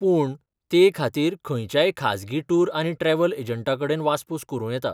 पूण, ते खातीर खंयच्याय खाजगी टूर आनी ट्रॅव्हल एजंटाकडेन वासपूस करूं येता.